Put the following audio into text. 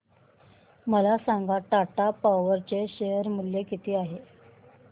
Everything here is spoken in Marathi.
मला सांगा टाटा पॉवर चे शेअर मूल्य किती आहे